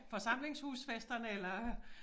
Forsamlingshusfesterne eller